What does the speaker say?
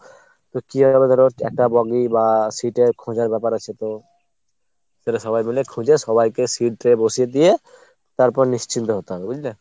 তো কী হবে ধরো একটা bogie বা seat এর খোঁজার ব্যাপার আছে তো। সেটা সবাই মিলে খুঁজে সবাইকে seat বসিয়ে দিয়ে তারপর নিশ্চিন্ত হতে হবে বুঝলে ?